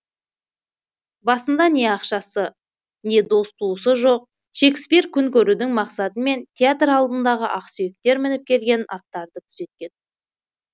басында не ақшасы не дос туысы жоқ шекспир күн көрудің мақсатымен театр алдындағы ақсүйектер мініп келген аттарды күзеткен